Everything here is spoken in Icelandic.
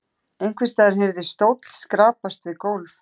Einhvers staðar heyrðist stóll skrapast við gólf.